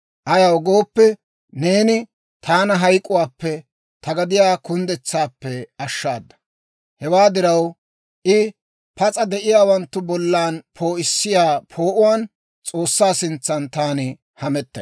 Ayaw gooppe, neeni taana hayk'k'uwaappe, ta gediyaa kunddetsaappe ashshaada. Hewaa diraw, I pas'a de'iyaawanttu bollan poo'issiyaa poo'uwaan S'oossaa sintsan taani hamettay.